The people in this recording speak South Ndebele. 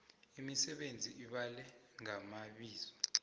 imisebenzi ibale ngamabizo